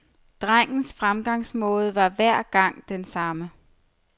Drengens fremgangsmåde var hver gang den samme.